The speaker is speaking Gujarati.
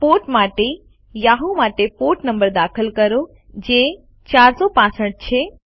પોર્ટ માટે યાહૂ માટે પોર્ટ નંબર દાખલ કરો જે 465 છે